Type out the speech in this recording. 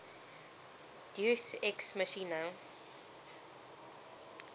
deus ex machina